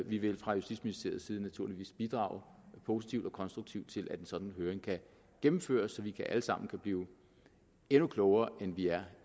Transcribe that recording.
vi vil fra justitsministeriets side naturligvis bidrage positivt og konstruktivt til at en sådan høring kan gennemføres så vi alle sammen kan blive endnu klogere end vi er